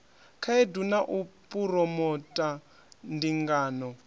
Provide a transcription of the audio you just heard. khaedu na u phuromotha ndingano